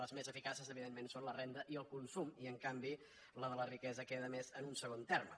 les més eficaces evidentment són la renda i el consum i en canvi la de la riquesa queda més en un segon terme